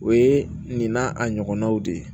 O ye nin n'a a ɲɔgɔnnaw de ye